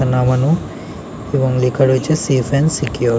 এটা নামানো এবং লেখা রয়েছে সেফ এন্ড সিকিউর ।